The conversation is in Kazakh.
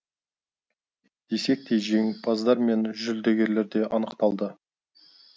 десек те жеңімпаздар мен жүлдегерлер де анықталды